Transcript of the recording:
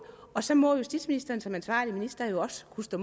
og så må justitsministeren som ansvarlig minister jo også kunne stå